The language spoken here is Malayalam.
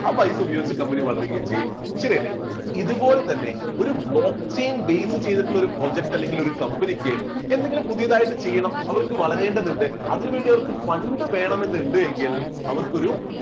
ആ പൈസ ഉപയോഗിച്ച് company വളരുകയും ചെയ്യും ശരിയല്ലേ ഇതുപോലെ തന്നെ ഒരു block chain base ചെയ്തിട്ടുള്ള ഒരു project അല്ലെങ്കിൽ ഒരു company ക്ക് എന്തെങ്കിലും പുതിയതായിട്ട് ചെയ്യണം അവർക്ക് വളരേണ്ടതുണ്ട് അതിനുവേണ്ടി അവർക്ക് fund വേണമെന്നുണ്ട് എങ്കിൽ അവർക്കൊരു